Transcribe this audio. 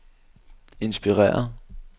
inspireret